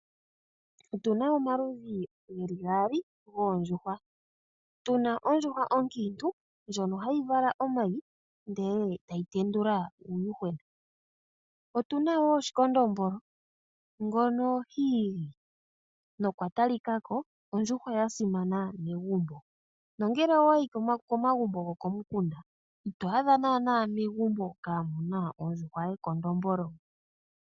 Otuna omaludhi gaali goondjuhwa. Otuna onkadhindjuhwa ndjono hayi vala omayi, ndele tayi tendula uuyuhwena. Otuna wo ekondombolo, ndjono hali igi na olya talika ko ondjuhwa ya simana megumbo. Nongele owayi komagumbo gokomukunda, ito adha naana megumbo kamuna ondjuhwa yekondombolo.